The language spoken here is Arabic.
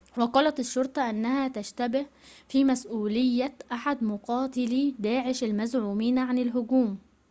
وقالت الشرطة إنها تشتبه في مسؤولية أحد مقاتلي داعش المزعومين عن الهجوم